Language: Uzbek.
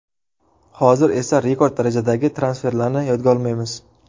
Hozir esa rekord darajadagi transferlarni yodga olmaymiz.